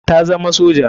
Ta zama soja.